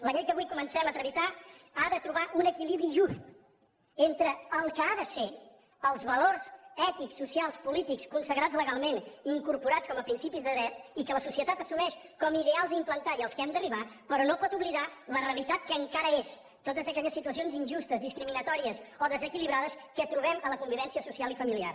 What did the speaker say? la llei que avui comencem a tramitar ha de trobar un equilibri just entre el que ha de ser els valors ètics socials polítics consagrats legalment i incorporats com a principis de dret i que la societat assumeix com a ideals a implantar i als quals hem d’arribar però no pot oblidar la realitat que encara és totes aquelles situacions injustes discriminatòries o desequilibrades que trobem a la convivència social i familiar